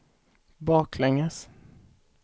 baklänges